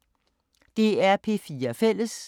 DR P4 Fælles